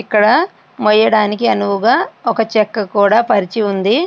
ఇక్కడ మోయడానికి అనువుగా ఒక చెక్క కూడా పరిచి ఉంది.